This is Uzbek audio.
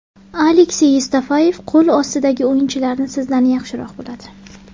Aleksey Yevstafeyev qo‘l ostidagi o‘yinchilarni sizdan yaxshiroq biladi.